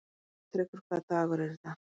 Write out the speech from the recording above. Gautrekur, hvaða dagur er í dag?